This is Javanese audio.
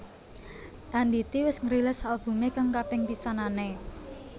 Andity wis ngrilis albumé kang kaping pisanané